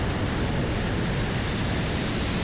İndi tam üstündədir, biraz yaxınlaşıb.